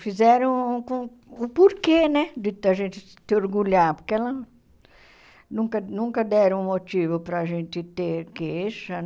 Fizeram com o porquê né de a gente se orgulhar, porque elas nunca nunca deram motivo para a gente ter queixa.